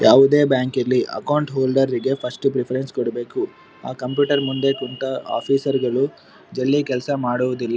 ಯಾವುದೆ ಬ್ಯಾಂಕ್ ಇರ್ಲ್ಲಿ account holder ರಿಗೆ ಫಸ್ಟ್ ಪ್ರೆಫೆರೆನ್ಸ್ ಕೊಡಬೇಕು ಆ ಕಂಪ್ಯೂಟರ್ ಮುಂದೆ ಕುಂತ ಆಫೀಸರ್ ಗಳು ಜಲ್ದೀ ಕೆಲ್ಸ ಮಾಡುವುದಿಲ್ .]